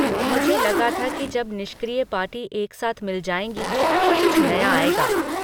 मुझे लगा था कि जब निष्क्रिय पार्टी एक साथ मिल जाएंगी तो कुछ नया आएगा...